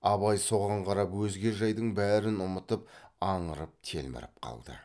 абай соған қарап өзге жайдың бәрін ұмытып аңырып телміріп қалды